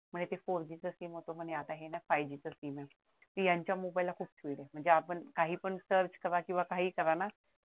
म्हणे ते four G च सिम होत आता हे five G च सिम आहे यांच्या मोबाइलला खूप हे आहे म्हणजे आपण काही पण search करा किंवा काही करा ना